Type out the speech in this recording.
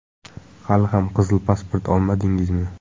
Hali ham qizil pasport olmadingizmi?